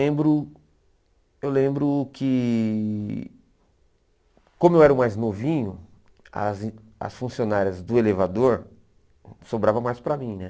Lembro eu lembro que, como eu era o mais novinho, as as funcionárias do elevador sobravam mais para mim né.